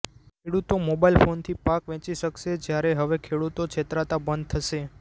ખેડૂતો મોબાઈલ ફોનથી પાક વેંચી શકશે જ્યારે હવે ખેડૂતો છેતરાતા બંધ થશે